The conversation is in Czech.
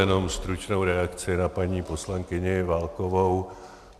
Jenom stručnou reakci na paní poslankyni Válkovou.